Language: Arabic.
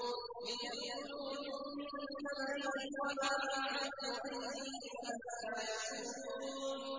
لِيَأْكُلُوا مِن ثَمَرِهِ وَمَا عَمِلَتْهُ أَيْدِيهِمْ ۖ أَفَلَا يَشْكُرُونَ